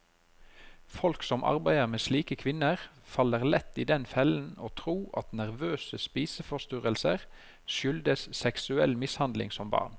Folk som arbeider med slike kvinner, faller lett i den fellen å tro at nervøse spiseforstyrrelser skyldes seksuell mishandling som barn.